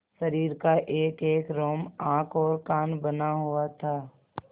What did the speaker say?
शरीर का एकएक रोम आँख और कान बना हुआ था